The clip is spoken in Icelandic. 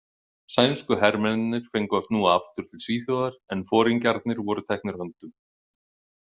Sænsku hermennirnir fengu að snúa aftur til Svíþjóðar en foringjarnir voru teknir höndum.